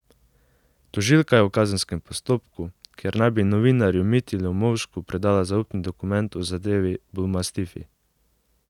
Tožilka je v kazenskem postopku, ker naj bi novinarju Mitji Lomovšku predala zaupni dokument v zadevi bulmastifi.